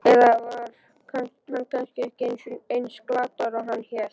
Eða var hann kannski ekki eins glataður og hann hélt?